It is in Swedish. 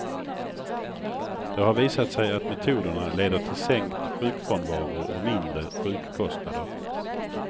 Det har visat sig att metoderna leder till sänkt sjukfrånvaro och mindre sjukkostnader.